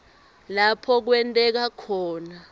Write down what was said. lapho kwenteka khona